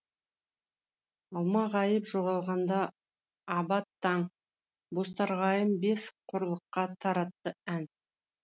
алмағайып жоғалғанда абат таң бозторғайым бес құрлыққа таратты ән